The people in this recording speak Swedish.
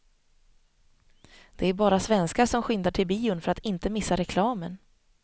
Det är bara svenskar som skyndar till bion för att inte missa reklamen.